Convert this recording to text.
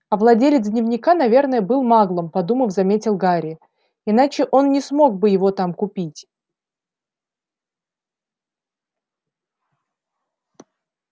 а владелец дневника наверное был маглом подумав заметил гарри иначе он не смог бы его там купить